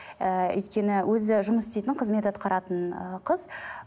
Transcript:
ыыы өйткені өзі жұмыс істейтін қызмет атқаратын ыыы қыз